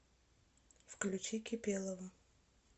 включи кипелова